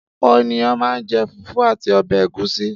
Ọ̀pọ̀ ènìyàn máa ń jẹ fùfú àti ọbẹ̀ ẹ̀gúsí.